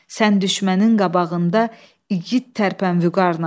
Sən düşmənin qabağında igid tərpən vüqarla.